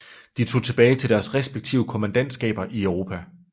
De tog tilbage til deres respektive kommandantskaber i Europa